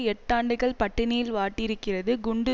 எட்டாண்டுகள் பட்டினியில் வாட்டியிருக்கிறது குண்டு